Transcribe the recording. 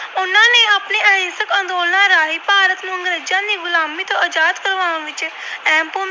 ਅੰਗਰੇਜਾਂ ਦੀ ਗੁਲਾਮੀ ਤੋਂ ਆਜਾਦ ਕਰਵਾਉਣ ਵਿੱਚ ਅਹਿਮ ਭੂਮਿਕਾ